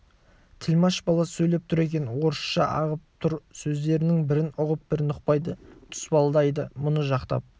тілмаш бала сөйлеп тұр екен орысша ағып тұр сөздерінің бірін ұғып бірін ұқпайды тұспалдайды мұны жақтап